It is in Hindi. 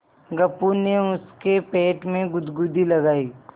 गप्पू ने उसके पेट में गुदगुदी लगायी